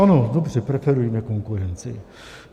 Ano, dobře, preferujme konkurenci.